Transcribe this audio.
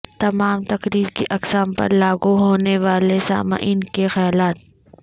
تمام تقریر کی اقسام پر لاگو ہونے والے سامعین کے خیالات